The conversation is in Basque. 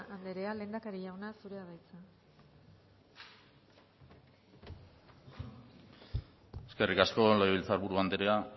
andrea lehendakari jauna zurea da hitza eskerrik asko legebiltzar buru andrea